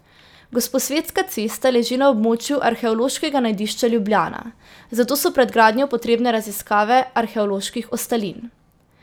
Gosposvetska cesta leži na območju arheološkega najdišča Ljubljana, zato so pred gradnjo potrebne raziskave arheoloških ostalin.